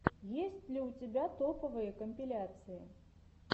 есть ли у тебя топовые компиляции